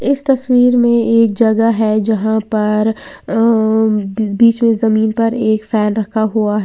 इस तस्वीर में एक जगह है जहां पर अंअं बीच में जमीन पर एक फैन रखा हुआ है।